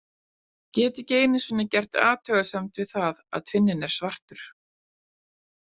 Get ekki einu sinni gert athugasemd við það að tvinninn er svartur.